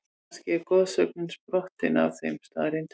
Kannski er goðsögnin sprottin af þeim staðreyndum?